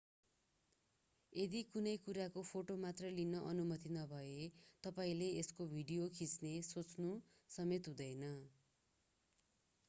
यदि कुनै कुराको फोटो मात्र लिने अनुमति नभए तपाईंले यसको भिडियो खिच्ने सोच्नु समेत हुँदैन